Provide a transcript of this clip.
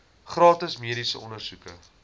gratis mediese ondersoeke